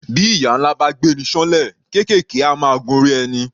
Bí ìyà ńlá bá gbé'ni ṣán'lẹ̀, kéékèèké á máa gun orí ẹni.